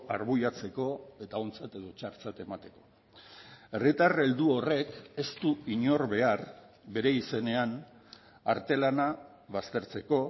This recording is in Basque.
arbuiatzeko eta ontzat edo txartzat emateko herritar heldu horrek ez du inor behar bere izenean artelana baztertzeko